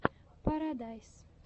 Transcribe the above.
парадайз